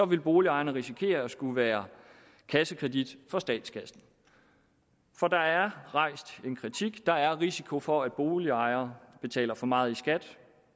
vil boligejerne risikere at skulle være kassekredit for statskassen for der er rejst en kritik der er risiko for at boligejere betaler for meget i skat